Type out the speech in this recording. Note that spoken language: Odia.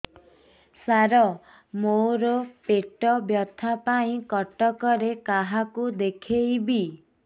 ସାର ମୋ ର ପେଟ ବ୍ୟଥା ପାଇଁ କଟକରେ କାହାକୁ ଦେଖେଇବି